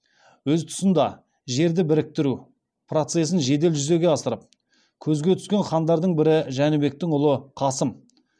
өз тұсында жерді біріктіру процесін жедел жүзеге асырып көзге түскен хандардың бірі жәнібектің ұлы қасым